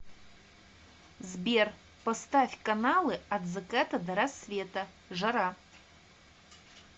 сбер поставь каналы от заката до рассвета жара